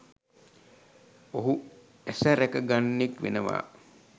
ඔහු ඇස රැක ගන්නෙක් වෙනවා.